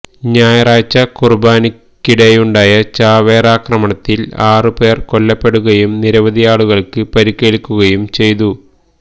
ഞായറാഴ്ച കുര്ബാനയ്ക്കിടെയുണ്ടായ ചാവേറാക്രമണത്തില് ആറ് പേര് കൊല്ലപ്പെടുകയും നിരവധിയാളുകള്ക്ക് പരിക്കേല്ക്കുകയും ചെയ്തു